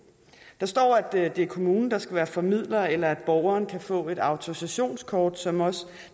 der står at det er kommunen der skal være formidler eller at borgeren kan få et autorisationskort som også